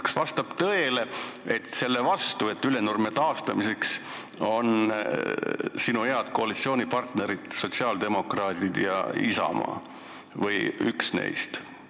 Kas vastab tõele, et Ülenurme taastamise vastu on sinu head koalitsioonipartnerid sotsiaaldemokraadid ja Isamaa või üks neist?